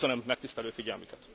Köszönöm megtisztelő figyelmüket.